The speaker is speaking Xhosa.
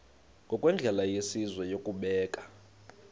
ngokwendlela yesizwe yokubeka